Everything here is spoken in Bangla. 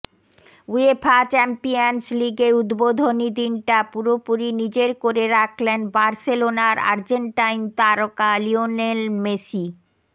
উয়েফা চ্যাম্পিয়নস লিগের উদ্বোধনী দিনটা পুরোপুরি নিজের করে রাখলেন বার্সেলোনার আর্জেন্টাইন তারকা লিওনেল মেসি